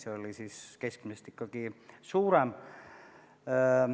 See oli keskmisest ikkagi suurem.